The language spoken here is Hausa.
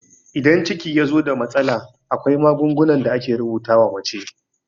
Idan ciki yazo da matsala, akwai magungunan da ake rubuta wa mace